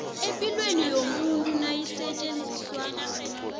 epilweni yomuntu nayisetjenziswa